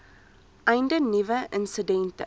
einde nuwe insidente